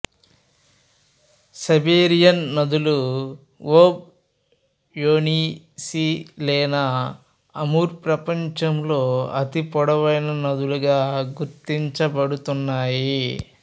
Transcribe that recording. Siberian నదులు Ob Yenisei Lena Amur ప్రపంచంలో అతి పొడవైన నదులుగా గుర్తించబడుతున్నాయి